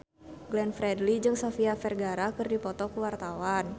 Glenn Fredly jeung Sofia Vergara keur dipoto ku wartawan